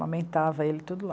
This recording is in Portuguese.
Amamentava ele tudo lá.